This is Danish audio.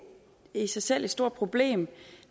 i sig selv er et stort problem